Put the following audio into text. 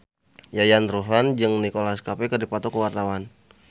Yayan Ruhlan jeung Nicholas Cafe keur dipoto ku wartawan